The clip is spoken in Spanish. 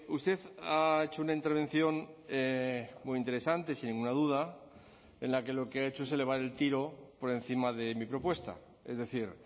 usted ha hecho una intervención muy interesante sin ninguna duda en la que lo que ha hecho es elevar el tiro por encima de mi propuesta es decir